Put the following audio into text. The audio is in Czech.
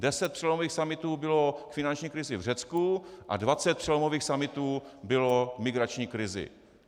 Deset přelomových summitů bylo k finanční krizi v Řecku a dvacet přelomových summitů bylo k migrační krizi.